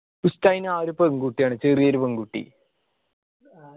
ഉസ്താദിന് ആ ഒരു പെങ്കുട്ടി ആണ്. ചെറിയൊരു പെങ്കുട്ടി